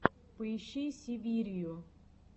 поищи сибирию